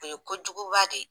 O ye kojuguba de ye